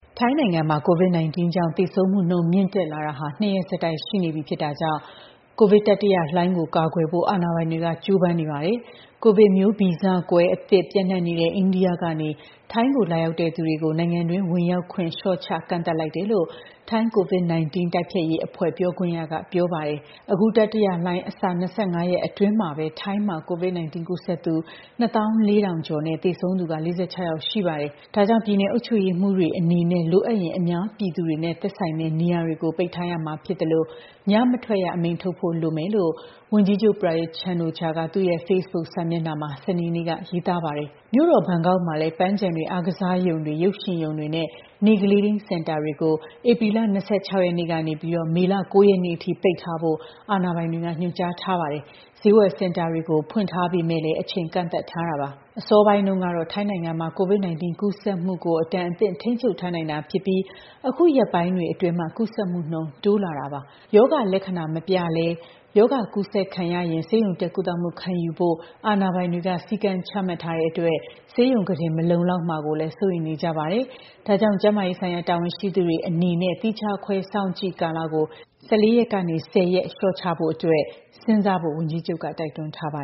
ထိုင်းနိုင်ငံမှာ COVID-19 ကြောင့် သေဆုံးမှုနှုန်း မြင့်လာတာ ၂ ရက်ဆက်တိုက် ရှိလာတာကြောင့် ကိုဗစ်တတိယလှိုင်းကို ကာကွယ်ဖို့ အာဏာပိုင်တွေ ကြိုးပမ်းနေကြပါတယ်။ ကိုဗစ် မျိုးဗီဇကွဲအသစ် ပျံ့နှံ့နေတဲ့ အိန္ဒိယကနေ ထိုင်းကို လာရောက်သူတွေကို နိုင်ငံတွင်းဝင်ရောက်ခွင့် လျှော့ချ ကန့်သတ်လိုက်တယ်လို့လည်း ထိုင်း COVID-19 တိုက်ဖျက်ရေးအဖွဲ့ ပြောခွင့်ရက ပြောပါတယ်။ အခု တတိယလှိုင်းအစ ၂၅ ရက်အတွင်းမှာပဲ COVID-19 ကူးစက်သူ ၂၄,၀၀၀ ကျော်နဲ့ သေဆုံးသူ ၄၆ ယောက်ရှိပါတယ်။ ဒါကြောင့် ပြည်နယ်အုပ်ချုပ်ရေးမှူးတွေ အနေနဲ့ လိုအပ်ရင် အများပြည်သူတွေနဲ့ သက်ဆိုင်တဲ့ နေရာတွေကို ပိတ်ရမှာဖြစ်သလို ညမထွက်ရအမိန့်ထုတ်ဖို့ လိုမယ်လို့ ဝန်ကြီးချုပ် Prayut Chan-o-cha က သူ့ Facebook စာမျက်နှာမှာ စနေနေ့က ရေးထားပါတယ်။ မြို့တော် ဘန်ကောက်မှာလည်း ပန်းခြံတွေ၊ အားကစားရုံတွေ၊ ရုပ်ရှင်ရုံတွေနဲ့ နေ့ကလေးထိန်းစင်တာတွေကို ဧပြီ ၂၆ ရက်ကနေ မေလ ၉ ရက်နေ့အထိ ပိတ်ထားဖို့ အာဏာပိုင်တွေက ညွှန်ကြားထားပါတယ်။ ဈေးဝယ်စင်တာတွေကို ဖွင့်ထားပေမယ့် အချိန်ကန့်သတ်ထားပါတယ်။ အစောပိုင်းတုန်းက ထိုင်းနိုင်ငံမှာ COVID-19 ကူးစက်မှုကို အတန်အသင့် ထိန်းချုပ်ထားနိုင်တာဖြစ်ပြီး အခုရက်ပိုင်းတွေအတွင်း ကူးစက်မှုနှုန်း တိုးလာနေတာပါ။ ရောဂါလက္ခဏာမပြလည်း ရောဂါကူးစက်နေရင် ဆေးရုံတက် ကုသမှုခံယူဖို့ အာဏာပိုင်တွေက စည်းကမ်းချမှတ်ထားတာကြောင့် ဆေးရုံခုတင်တွေ မလုံလောက်မှာကိုလည်း စိုးရိမ်နေကြပါတယ်။ ဒါကြောင့် ကျန်းမာရေးဆိုင်ရာ တာဝန်ရှိသူတွေအနေနဲ့ သီးခြားခွဲ စောင့်ကြည့်ကာလကို ၁၄ ရက်ကနေ ၁၀ ရက်လျှော့ချဖို့အတွက် စဉ်းစားဖို့ ဝန်ကြီးချုပ်က တိုက်တွန်းထားပါ